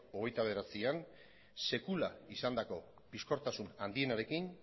hogeita bederatzian sekula izandako bizkortasun handienarekin